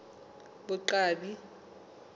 boqwabi